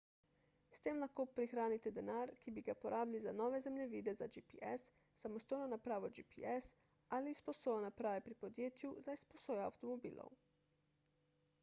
s tem lahko prihranite denar ki bi ga porabili za nove zemljevide za gps samostojno napravo gps ali izposojo naprave pri podjetju za izposojo avtomobilov